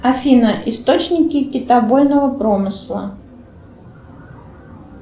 афина источники китобойного промысла